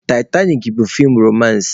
Taịtanik bụ feem romansị